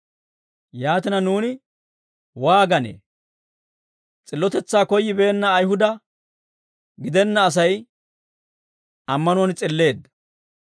Yaatina, nuuni waaganee? S'illotetsaa koyyibeenna Ayihuda gidenna Asay ammanuwaan s'illeedda;